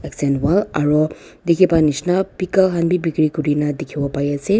extend wall aru dikhipai nishina pickle khan bi bikiri kurina dikhiwo pari ase.